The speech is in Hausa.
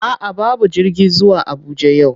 A'a babu jirgi zuwa Abuja yau,